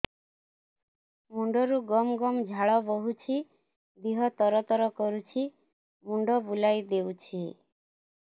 ମୁଣ୍ଡରୁ ଗମ ଗମ ଝାଳ ବହୁଛି ଦିହ ତର ତର କରୁଛି ମୁଣ୍ଡ ବୁଲାଇ ଦେଉଛି